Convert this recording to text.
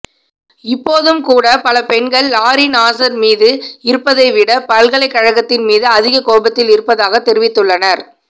இப்போதும்கூட பல பெண்கள் Larry Nassar மீது இருப்பதை விட பல்கலைக்கழகத்தின்மீது அதிக கோபத்தில் இருப்பதாகத் தெரிவித்துள்ளனர்